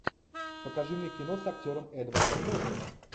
покажи мне кино с актером эдвардом нортоном